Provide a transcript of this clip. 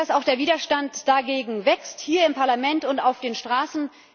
Gut, dass auch der Widerstand dagegen wächst, hier im Parlament und auf den Straßen.